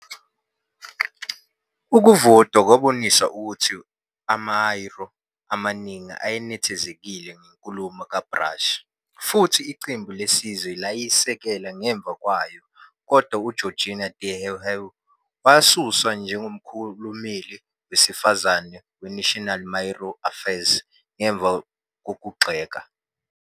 Ukuvota kwabonisa ukuthi amaMāori amaningi ayenethezekile ngenkulumo kaBrash, futhi Iqembu Lesizwe layisekela ngemva kwayo, kodwa uGeorgina te Heuheu wasuswa njengomkhulumeli wesifazane weNational Māori Affairs ngemva kokuyigxeka.